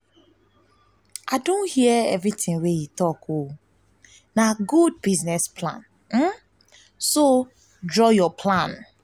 i don hear everything wey you talk and na good business idea so draw your plan